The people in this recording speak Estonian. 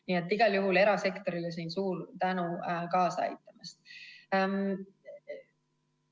Nii et igal juhul erasektorile siin suur tänu kaasa aitamast!